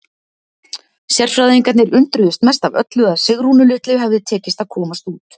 Sérfræðingarnir undruðust mest af öllu að Sigrúnu litlu hefði tekist að komast út.